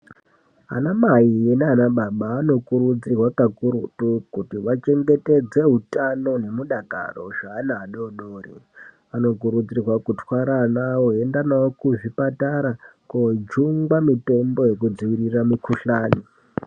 Anamai naanababa anokurudzirwa kakurutu kuti vachengetedze hutano nemudakaro zvaana adoodori. Anokurudzirwa kutwara ana awo eienda nawo kuzvipatara koojungwa mitombo yekudziwirira mukuhlani.